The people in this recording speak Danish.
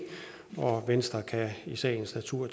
og venstre kan i sagens natur